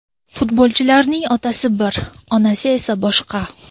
Futbolchilarning otasi bir, onasi esa boshqa.